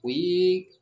O ye